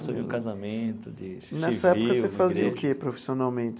Assumir um casamento, de civil igreja... Nessa época, você fazia o que profissionalmente?